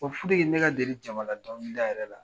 ye ne deli jama ladɔnkili da yɛrɛ la.